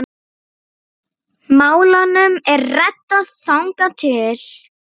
Málunum er reddað þangað til.